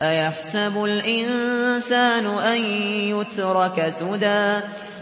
أَيَحْسَبُ الْإِنسَانُ أَن يُتْرَكَ سُدًى